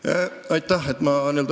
Aeg on läbi ja küsimus on ka selge.